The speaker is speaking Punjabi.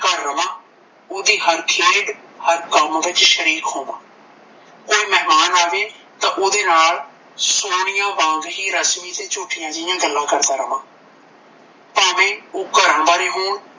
ਘਰ ਰਵਾਂ ਓਹਦੀ ਹਾਰ ਖੇਡ ਉਹਦੇ ਹਰ ਕੰਮ ਵਿੱਚ ਸ਼ਰੀਕ ਹੋਵਾਂ ਕੋਈ ਮਹਿਮਾਨ ਆਵੈ ਤਾਂ ਉਹਦੇ ਨਾਲ ਸੋਨੀਆ ਵਾਂਗ ਹੀ ਰਸਮੀ ਤੇ ਝੂਠੀਆਂ ਜਿਹੀਆਂ ਗੱਲਾਂ ਕਰਦਾ ਰਵਾਂ ਭਾਂਵੇ ਓਹ ਘਰ ਬਾਰੇ ਹੋਣ